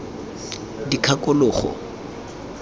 dikgakologo